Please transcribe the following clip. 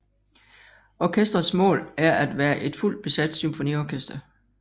Orkestrets mål er at være et fuldt besat symfoniorkester